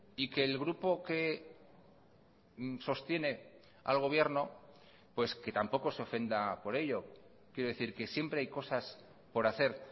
y que el grupo que sostiene al gobierno pues que tampoco se ofenda por ello quiero decir que siempre hay cosas por hacer